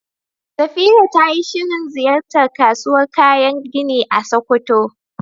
Safira tayi shirin ziyartar kasuwar kayan gini a Sokoto.